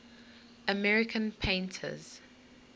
american painters